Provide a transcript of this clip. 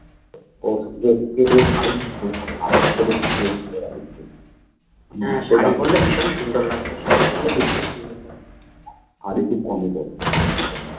হ্যাঁ শাড়ি পড়লে ভীষণ সুন্দর লাগতো শাড়ি পড়লে ভীষণ সুন্দর লাগতো